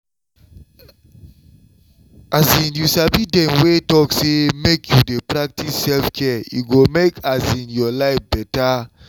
um you sabi dem wey sabi talk say make you dey practice self-care e go make your life better